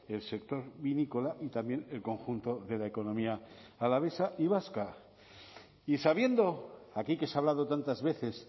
el sector vinícola y también el conjunto de la economía alavesa y vasca y sabiendo aquí que se ha hablado tantas veces